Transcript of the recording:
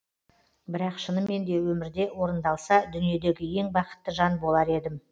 бірақ шынымен де өмірде орындалса дүниедегі ең бақытты жан болар едім